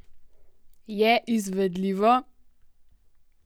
Je izvedljivo?